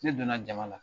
Ne donna jama la